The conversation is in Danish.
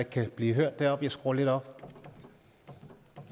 kan blive hørt deroppe jeg skruer lidt op